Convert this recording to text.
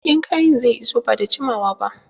Jirgin kayan zai iso bada jimawa ba